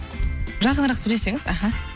жақынырақ сөйлесеңіз аха